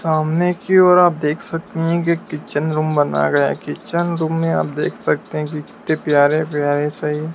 सामने की और आप देख सकते हैं की किचन रूम बनाया गया है। किचन रूम में आप देख सकते हैं कि कितने प्यारे-प्यारे से --